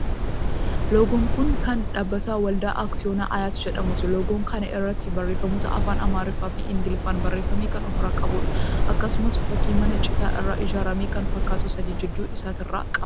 Loogon kuni kan dhaabbata Waldaa Aksiyoona Ayaat jedhamuuti. Loogoo kana irratti barreeffamoota afaan Amaariffaa fi Ingiliffaan barreeffamee kan ofirraa qabuudha. Akkasumas, fakkii mana citaa irraa ijaarame kan fakkaatu sadi gidduu isaatirraa qaba.